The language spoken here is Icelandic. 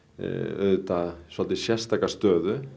auðvitað svolítið sérstaka stöðuna